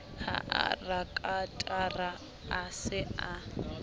ha rakatara a se a